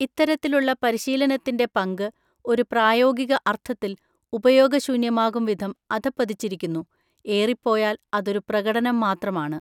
ഇത്തരത്തിലുള്ള പരിശീലനത്തിൻ്റെ പങ്ക് ഒരു പ്രായോഗിക അർത്ഥത്തിൽ ഉപയോഗശൂന്യമാകുംവിധം അധഃപതിച്ചിരിക്കുന്നു; ഏറിപ്പോയാൽ അതൊരു പ്രകടനം മാത്രമാണ്.